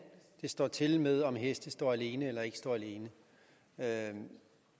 det står til med om heste står alene eller ikke står alene